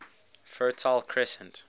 fertile crescent